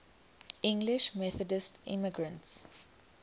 english methodist immigrants